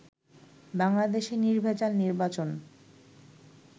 বাংলাদেশে নির্ভেজাল নির্বাচন